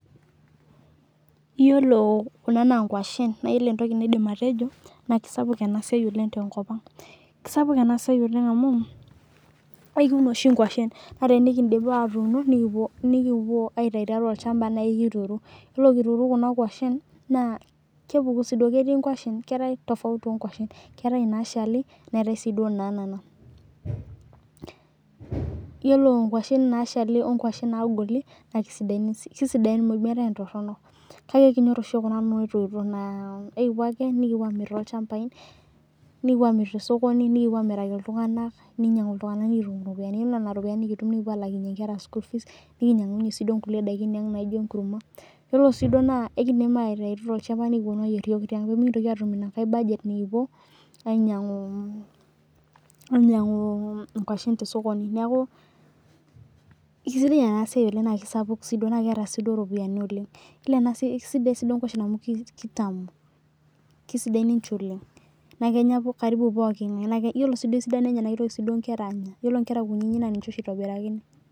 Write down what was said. iyolo kuna naa inkwashen naa iyolo entoki naidim atejo naa keisapuku ena siai oleng' tenkop ang' keisapuk ena siai oleng' amu ekiun oshii inkwashe naa tenikiindip atuuno nekipuo aitau tiatua olchhampa nayi kituru ore kituru kuna kwashen naa kepuku sii duo ketii inkwashen keetae tofauti oo nkwaaashen keetae inaashali neetae sii duo inaanana iyolo inkwashen naashali oo nkwashen naagoli naa keisidain meetae entoronok kakee kinyorr oshi iyok kuna naatoito naa ekipuo ake nekipuo aamirr toolchampain nekupuo aamirr tosokoni nekipuoaamiraki iltung'anak ninyang'u iltung'anal tukitum irropiyiani ore nena ropiyiani nikitum nikipuo aalakinyie inkera school fee nikinyang'unyie sii duo inkulie daikin naijo enkurma kelo sii duoo naa ekindim aitauti toolchampa nikiponu aayier iyok nimikintoki atum ina nkae budget ainyang'u inkwashen toosokoni neeku keisidai ena siai oleng' naa keisapuk sii duo naa keeta sii duo iropiyiani oleng' keisidaia duo sii inkwashen amu keitamu keisidain ninche oleng' naa kenyaa karibu pooki ng'ae iyolo sii duo esidano enye naa keitoki sii duo inkera aanya iyolo inkera kunyinyik naa ninche oshii eitobirakini